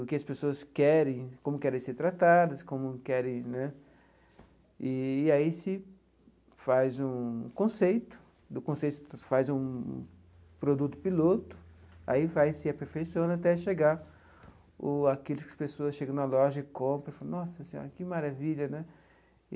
o que as pessoas querem, como querem ser tratadas, como querem né... E aí se faz um conceito, do conceito se faz um produto piloto, aí vai se aperfeiçoando até chegar o aquilo que as pessoas chegam na loja e compram e falam, nossa senhora, que maravilha, né?